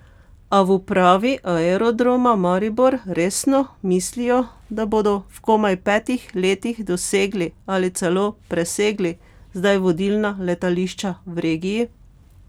Ali v upravi Aerodroma Maribor resno mislijo, da bodo v komaj petih letih dosegli ali celo presegli zdaj vodilna letališča v regiji?